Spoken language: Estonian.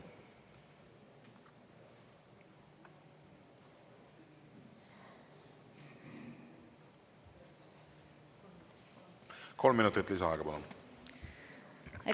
Kolm minutit lisaaega, palun!